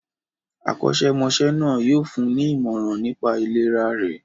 Akọ́ṣẹ́mọṣẹ́ náà yóò fún ní ìmọ̀ràn nipá ìlera rẹ̀.